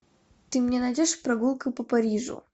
ты мне найдешь прогулка по парижу